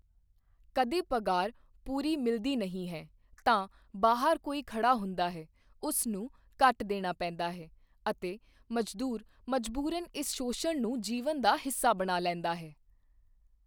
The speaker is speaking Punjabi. ਕਦੇ ਪਗਾਰ ਪੂਰੀ ਮਿਲਦੀ ਨਹੀਂ ਹੈ, ਤਾਂ ਬਾਹਰ ਕੋਈ ਖੜ੍ਹਾ ਹੁੰਦਾ ਹੈ, ਉਸ ਨੂੰ ਕੱਟ ਦੇਣਾ ਪੈਂਦਾ ਹੈ ਅਤੇ ਮਜ਼ਦੂਰ ਮਜਬੂਰਨ ਇਸ ਸ਼ੋਸ਼ਣ ਨੂੰ ਜੀਵਨ ਦਾ ਹਿੱਸਾ ਬਣਾ ਲੈਂਦਾ ਹੈ।